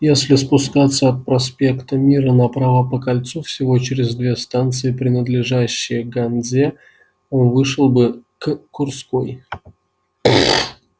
если спускаться от проспекта мира направо по кольцу всего через две станции принадлежащие ганзе он вышел бы к курской